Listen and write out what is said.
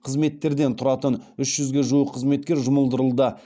қызметтерден тұратын үш жүзге жуық қызметкер жұмылдырылды